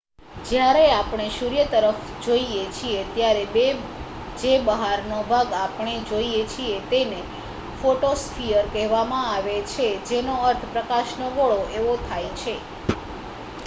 "જ્યારે આપણે સૂર્ય તરફ જોઈએ છીએ ત્યારે જે બહારનો ભાગ આપણે જોઈએ છીએ તેને ફોટોસ્ફીયર કહેવામાં આવે છે જેનો અર્થ "પ્રકાશનો ગોળો" એવો થાય છે.